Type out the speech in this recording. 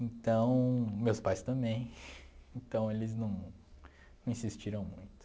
Então, meus pais também, então eles não não insistiram muito.